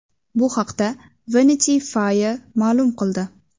Bu haqda Vanity Fair ma’lum qildi .